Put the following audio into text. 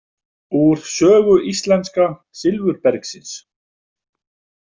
Úr sögu íslenska silfurbergsins.